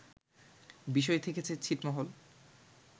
বিষয় থেকেছে ছিটমহল